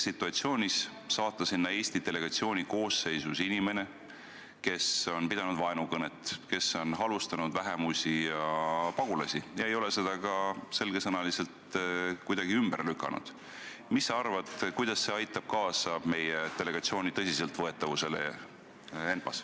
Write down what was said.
Kui saata sinna Eesti delegatsiooni koosseisus inimene, kes on pidanud vaenukõnet, kes on halvustanud vähemusi ja pagulasi ega ole neid sõnu ka selge sõnaga ümber lükanud, siis mis sa arvad, kuidas see aitab kaasa meie delegatsiooni tõsiseltvõetavusele ENPA-s?